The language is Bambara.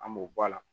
An b'o bɔ a la